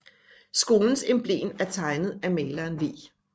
Skolens emblem er tegnet af maleren V